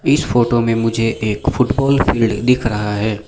इस फोटो में मुझे एक फुटबॉल फील्ड दिख रहा है।